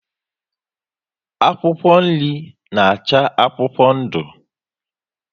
Akwụkwọ nri na acha akwụkwọ ndu